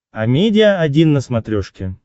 амедиа один на смотрешке